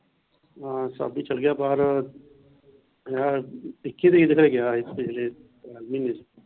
ਹਾਂ ਚੱਲ ਗਿਆ ਬਾਹਰ ਆਹ ਇੱਕੀ ਤਰੀਕ ਗਿਆ ਪਿੱਛਲੇ ਮਹੀਨੇ ਚ।